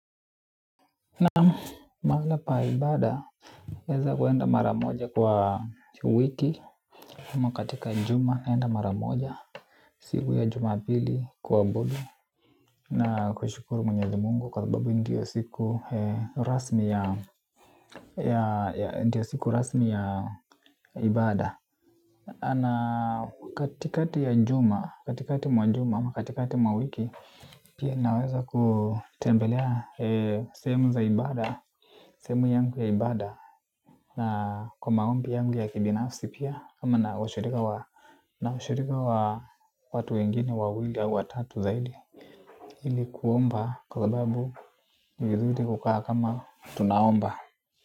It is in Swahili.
Na mahali pa ibaada, naweza kwenda mara moja kwa wiki ama katika juma, naenda mara moja. Siku ya juma pili kuabudu. Na kushukuru mwenyezi mungu kwa sababu ndiyo siku rasmi ya ya ndiyo siku rasmi ya ibada. Ana katikati ya juma, katikati mwa juma ama katikati mwa wiki. Pia naweza kutembelea sehemu za ibaada. Sehemu yangu ya ibaada na kwa maombi yangu ya kibinafsi pia ama na ushirika wa watu wengine, wawili, au watatu zaidi ili kuomba kwa sababu ni vizuri kukaa kama tunaomba.